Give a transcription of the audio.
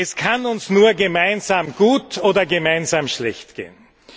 Es kann uns nur gemeinsam gut oder gemeinsam schlecht gehen.